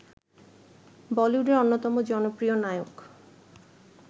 বলিউডের অন্যতম জনপ্রিয় নায়ক